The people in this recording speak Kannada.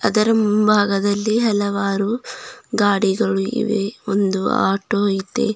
ಇದರ ಮುಂಭಾಗದಲ್ಲಿ ಹಲವಾರು ಗಾಡಿಗಳು ಇವೆ ಒಂದು ಆಟೋ ಇದೆ.